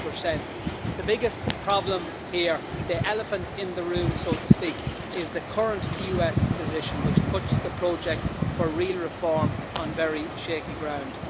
5. The biggest problem here the elephant in the room, so to speak is the current US position, which puts the project for real reform on very shaky ground.